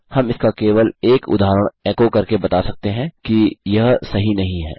हम इसका केवल एक उदहारण एको करके बता सकते हैं कि यह सही नहीं है